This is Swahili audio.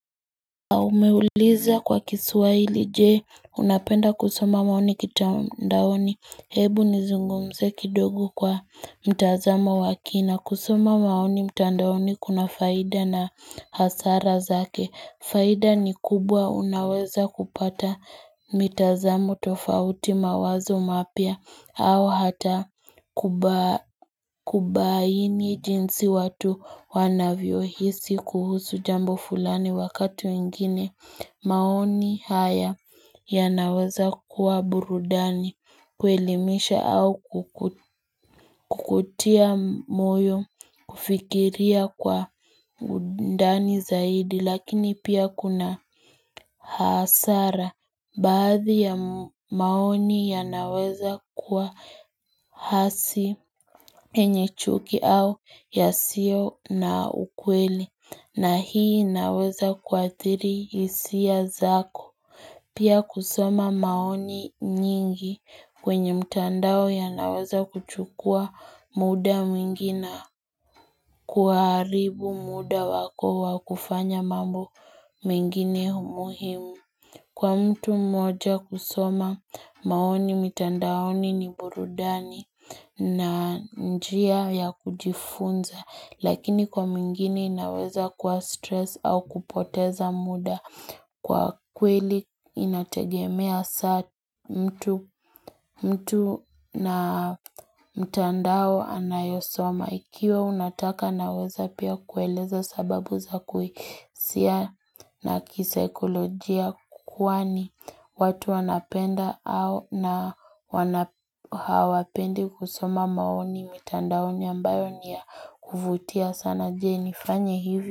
Au umeuliza kwa kiswahili, Je unapenda kusoma maoni kitandaoni hebu nizungumze kidogo kwa mtazamo wake na kusoma maoni mtandaoni kuna faida na hasara zake Faida ni kubwa unaweza kupata mitazamo tofauti mawazo mapya au hata kubaini jinsi watu wanavyohisi kuhusu jambo fulani wakatu wengine. Maoni haya yanaweza kuwa burudani kuelimisha au kukutia moyo kufikiria kwa undani zaidi lakini pia kuna hasara. Baadhi ya maoni yanaweza kuwa hasi yenye chuki au yasiyo na ukweli na hii inaweza kuathiri hisia zako. Pia kusoma maoni nyingi kwenye mtandao yanaweza kuchukua muda mwingi na kuharibu muda wako wa kufanya mambo mengine muhimu. Kwa mtu mmoja kusoma maoni mitandaoni ni burudani na njia ya kujifunza lakini kwa mwingine inaweza kuwa stress au kupoteza muda kwa kweli inategemea saa mtu na mtandao anayosoma. Ikiwa unataka naweza pia kueleza sababu za kuhisia na kisaikolojia kwani watu wanapenda au hawapendi kusoma maoni mitandaoni ambayo ni ya kuvutia sana je, nifanye hivyo?